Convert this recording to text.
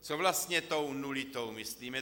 Co vlastně tou nulitou myslím?